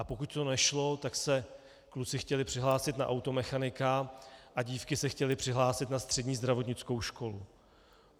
A pokud to nešlo, tak se kluci chtěli přihlásit na automechanika a dívky se chtěly přihlásit na střední zdravotnickou školu.